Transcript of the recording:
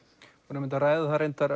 einmitt að ræða það